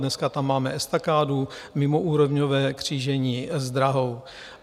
Dneska tam máme estakádu, mimoúrovňové křížení s drahou.